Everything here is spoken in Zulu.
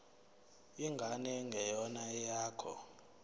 ingane engeyona eyakho